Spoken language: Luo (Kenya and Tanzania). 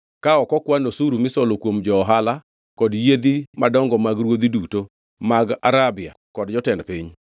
ka ok okwan osuru misolo kuom jo-ohala kod joyiedhi madongo mag ruodhi duto mag Arabia kod jotend piny.